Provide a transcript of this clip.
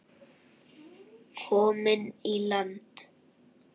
Komin í land.